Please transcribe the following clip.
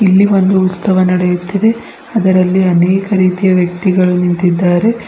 ಇಲ್ಲಿ ಒಂದು ಉತ್ಸವ ನಡೆಯುತ್ತಿದೆ ಅದರಲ್ಲಿ ಅನೇಕ ರೀತಿಯ ವ್ಯಕ್ತಿಗಳು ನಿಂತಿದ್ದಾರೆ.